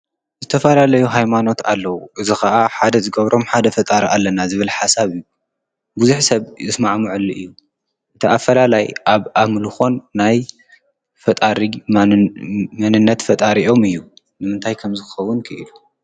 ዝተፋልለዩ ሃይማኖት ኣለዉ እዝ ኸዓ ሓደ ዝገብሮም ሓደ ፈጣር ኣለና ዝብል ሓሳብ እዩ ብዙኅ ሰብ እስማዕ ሙዕሊ እዩ እቲ ኣፈላላይ ኣብ ኣምሉኾን ናይ ፈጣሪ መንነት ፈጣሪኦም እዩ። ምምንታይ ከም ዝኸቡን ክኢሉ?